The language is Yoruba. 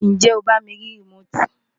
ǹjẹ́ o bá mi rí rìmóòtì?